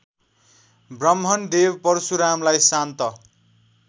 ब्राह्मणदेव परशुरामलाई शान्त